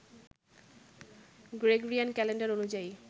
Gregorian calendar অনুযায়ী